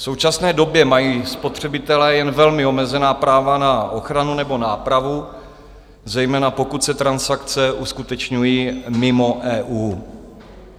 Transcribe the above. V současné době mají spotřebitelé jen velmi omezená práva na ochranu nebo nápravu, zejména pokud se transakce uskutečňují mimo EU.